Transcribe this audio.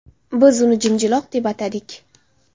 Biz uni Jimjiloq deb atadik”.